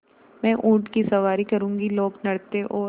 मैं ऊँट की सवारी करूँगी लोकनृत्य और